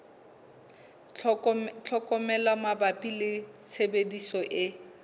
tlhokomelo mabapi le tshebediso e